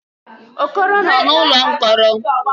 Okoro nọ n'ụlọ mkpọrọ.